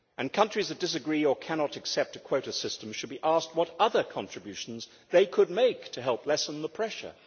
Countries that disagree or cannot accept a quota system should be asked what other contributions they could make to help lessen the pressure.